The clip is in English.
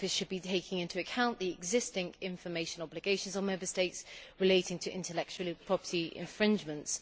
The Office should be taking into account the existing information obligations on Member States relating to intellectual property infringements.